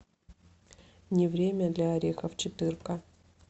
не время для орехов четырка